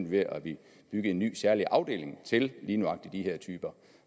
ved at bygge en ny særlig afdeling til lige nøjagtig de her typer